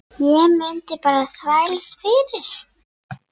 Ég mundi bara þvælast fyrir.